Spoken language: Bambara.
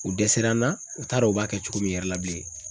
U dɛsɛra n na u t'a dɔn u b'a kɛ cogo min yɛrɛ la bilen.